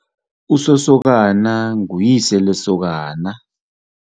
Usosokana nguyise lesokana.